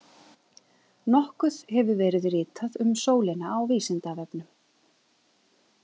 Nokkuð hefur verið ritað um sólina á Vísindavefnum.